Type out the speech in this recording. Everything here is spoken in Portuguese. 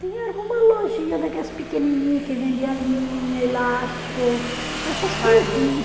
Tinha alguma lojinha, daquelas pequenininha que vendia linha, elástico, essas coisinha.